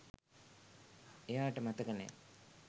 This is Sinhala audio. එයාට මතක නෑ